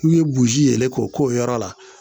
N'u ye boji yɛlɛn k'o k'o yɔrɔ la